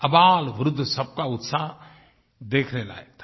आबालवृद्ध सबका उत्साह देखने लायक था